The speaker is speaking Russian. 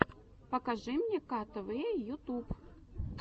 покажи мне ктв ютуб